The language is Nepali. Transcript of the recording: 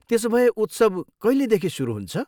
त्यसोभए उत्सव कहिलेदेखि सुरु हुन्छ?